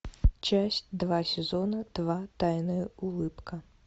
часть два сезона два тайная улыбка